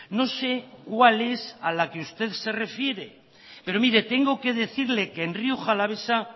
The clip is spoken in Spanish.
no sé cuál es a la que usted se refiere pero mire tengo que decirle que en rioja alavesa